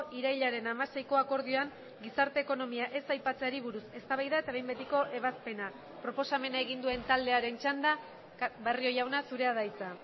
irailaren hamaseiko akordioan gizarte ekonomia ez aipatzeari buruz eztabaida eta behin betiko ebazpena proposamena egin duen taldearen txanda barrio jauna zurea da hitza